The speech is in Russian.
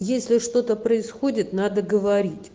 если что-то происходит надо